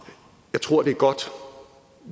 jeg tror det er godt